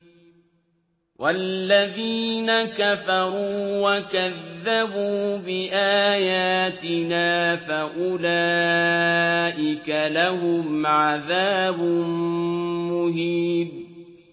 وَالَّذِينَ كَفَرُوا وَكَذَّبُوا بِآيَاتِنَا فَأُولَٰئِكَ لَهُمْ عَذَابٌ مُّهِينٌ